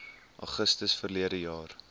augustus verlede jaar